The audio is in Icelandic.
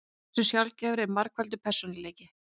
Hversu sjaldgæfur er margfaldur persónuleiki?